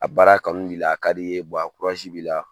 A baara kanu bila a ka di ye la